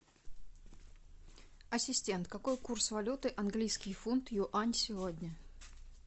ассистент какой курс валюты английский фунт юань сегодня